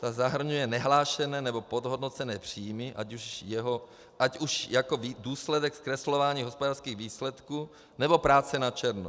Ta zahrnuje nehlášené nebo podhodnocené příjmy, ať už jako důsledek zkreslování hospodářských výsledků, nebo práce na černo.